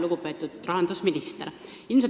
Lugupeetud rahandusminister!